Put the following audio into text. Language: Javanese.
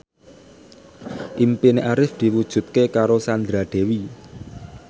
impine Arif diwujudke karo Sandra Dewi